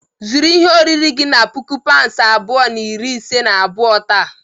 Zụrụ ihe oriri gị na puku paụnd abụọ na iri ise na abụọ taa.